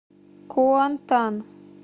куантан